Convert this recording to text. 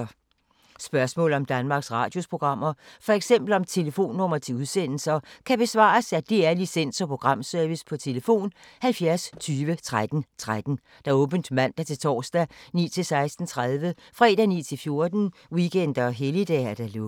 Spørgsmål om Danmarks Radios programmer, f.eks. om telefonnumre til udsendelser, kan besvares af DR Licens- og Programservice: tlf. 70 20 13 13, åbent mandag-torsdag 9.00-16.30, fredag 9.00-14.00, weekender og helligdage: lukket.